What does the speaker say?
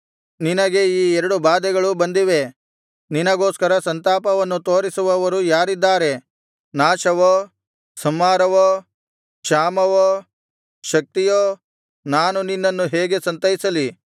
ನಿನಗೆ ಈ ಎರಡು ಬಾಧೆಗಳು ಬಂದಿವೆ ನಿನಗೋಸ್ಕರ ಸಂತಾಪವನ್ನು ತೋರಿಸುವವರು ಯಾರಿದ್ದಾರೆ ನಾಶವೋ ಸಂಹಾರವೋ ಕ್ಷಾಮವೋ ಶಕ್ತಿಯೋ ನಾನು ನಿನ್ನನ್ನು ಹೇಗೆ ಸಂತೈಸಲಿ